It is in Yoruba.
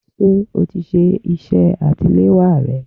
Ṣé o ti ṣe iṣẹ́ àsetiléwá rẹ?